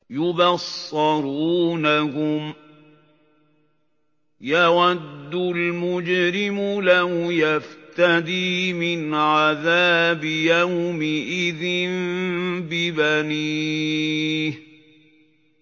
يُبَصَّرُونَهُمْ ۚ يَوَدُّ الْمُجْرِمُ لَوْ يَفْتَدِي مِنْ عَذَابِ يَوْمِئِذٍ بِبَنِيهِ